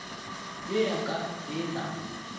ye ya ka e na